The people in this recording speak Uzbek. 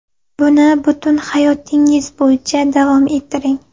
Buni butun hayotingiz bo‘yicha davom ettiring.